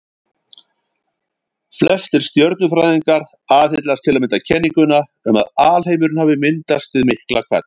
Flestir stjörnufræðingar aðhyllast til að mynda kenninguna um að alheimurinn hafi myndast við Miklahvell.